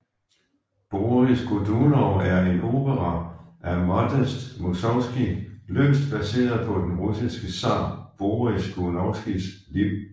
Boris Godunov er en opera af Modest Musorgskij løst baseret på den russiske zar Boris Godunovs liv